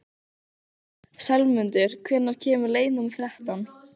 slefmundur, hvenær kemur leið númer þrettán?